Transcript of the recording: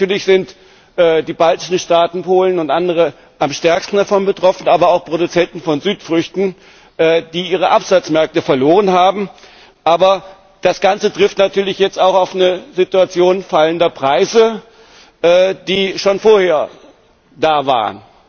Natürlich sind die baltischen Staaten, Polen und andere am stärksten davon betroffen, aber auch Produzenten von Südfrüchten, die ihre Absatzmärkte verloren haben. Aber das ganze trifft jetzt natürlich auch auf eine Situation fallender Preise, die schon vorher da waren.